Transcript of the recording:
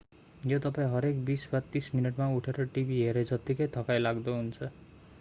यो तपाईं हरेक बीस वा तीस मिनेटमा उठेर टिभी हेरे जत्तिकै थकाइ लाग्दो हुन्छ